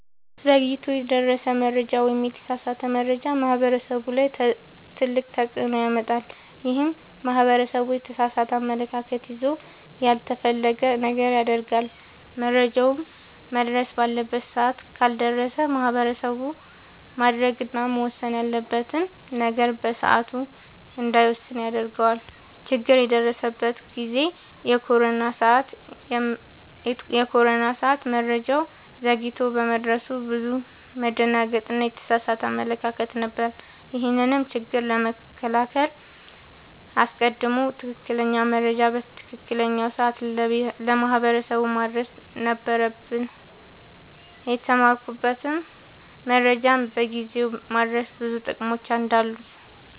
ዘግይቶ የደረሰ መረጃ ወይም የተሳሳተ መረጃ ማህበረሰቡ ላይ ትልቅ ተፅዕኖ ያመጣል። ይህም ማህበረሰቡ የተሳሳተ አመለካከት ይዞ ያልተፈለገ ነገር ያደርጋል። መረጃውም መድረስ ባለበት ሰዓት ካልደረሰ ማህበረሰቡ ማድረግ እና መወሰን ያለበትን ነገር በሰዓቱ እንዳይወስን ያደርገዋል። ችግር የደረሰበት ጊዜ የኮሮና ሰዓት መረጃው ዘግይቶ በመድረሱ ብዙ መደናገጥ እና የተሳሳተ አመለካከት ነበር። ይህንንም ችግር ለመከላከል አስቀድሞ ትክክለኛ መረጃ በትክክለኛው ሰዓት ለማህበረሰቡ ማድረስ ነበረብን። የተማርኩትም መረጃን በጊዜው ማድረስ ብዙ ጥቅሞች እንዳሉት ነወ።